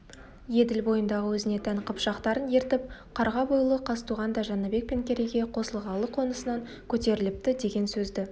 еділ бойындағы өзіне тән қыпшақтарын ертіп қарға бойлы қазтуған да жәнібек пен керейге қосылғалы қонысынан көтеріліпті деген сөзді